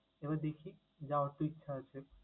এবার দেখি, যাওয়ার তো ইচ্ছা আছে।